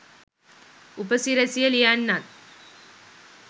උපසිරැසිය ලියන්නත්